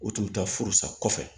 O tun bɛ taa furu sa kɔfɛ